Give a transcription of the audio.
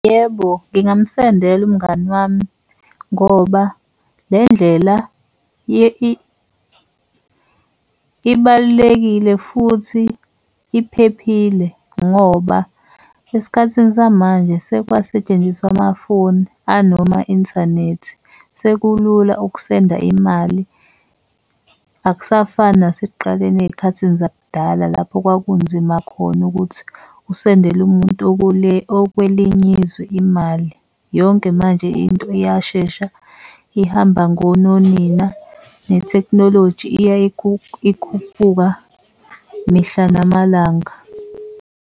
Yebo, ngingamsendela umngani wami ngoba le ndlela ibalulekile futhi iphephile ngoba esikhathini samanje sekwasentshenziswa amafoni anoma-inthanethi. Sekulula ukusenda imali, akusafani nasekuqaleni ey'khathini zakudala lapho kwakunzima khona ukuthi usendele umuntu okwelinye izwe imali. Yonke manje into iyashesha ihamba ngononina nethekhnoloji iya ikhuphuka mihla namalanga.